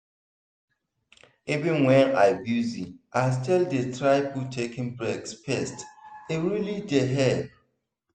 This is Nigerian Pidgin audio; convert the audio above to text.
even when i busy i still dey try put taking breaks first e really dey help.